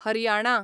Haryana